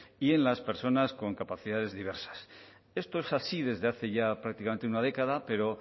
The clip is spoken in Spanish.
y en las personas con capacidades diversas esto es así desde hace ya prácticamente una década pero